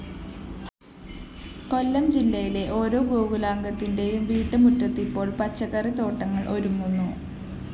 കൊല്ലം ജില്ലയിലെ ഓരോ ഗോകുലാംഗത്തിന്റേയും വീട്ടുമുറ്റത്ത് ഇപ്പോള്‍ പച്ചക്കറിത്തോട്ടങ്ങള്‍ ഒരുങ്ങുന്നു